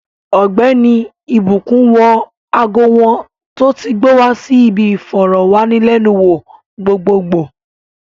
Ogbeni ìbùkún wọ ago wọn tó ti gbó wa si bi iforowanilenu wo gbogbogbo